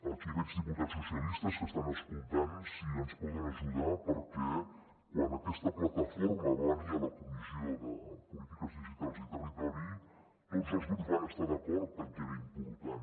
aquí veig diputats socialistes que estan escoltant si ens poden ajudar perquè quan aquesta plataforma va venir a la comissió de polítiques digitals i territori tots els grups van estar d’acord en què era important